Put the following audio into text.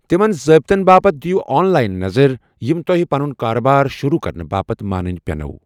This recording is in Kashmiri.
تِمن ضٲبتن باپتھ دِیو آن لاین نظر یِم توہہِ پنن كاربار شروع كرنہٕ باپتھ مانٕنۍ پینوٕ۔